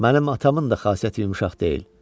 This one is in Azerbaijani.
Mənim atamın da xasiyyəti yumşaq deyil.